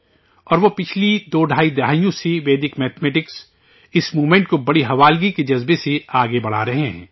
اور وہ گزشتہ دو ڈھائی دہائیوں سے ویدک میتھ میٹکس اس موومنٹ کو پوری جاں فشانی سے آگے بڑھا رہے ہیں